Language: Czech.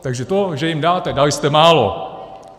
Takže to, že jim dáte, dali jste málo!